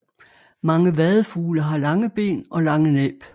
Mange vadefugle har lange ben og lange næb